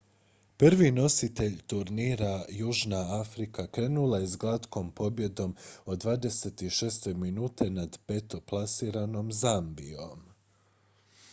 prvi nositelj turnira južna afrika krenula je s glatkom pobjedom od 26:00 nad petoplasiranom zambijom